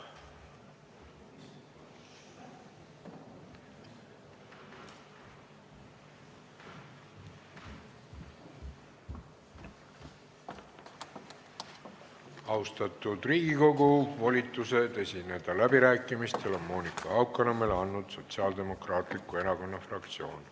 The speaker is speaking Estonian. Austatud Riigikogu, volitused läbirääkimistel esineda on Monika Haukanõmmele andnud Sotsiaaldemokraatliku Erakonna fraktsioon.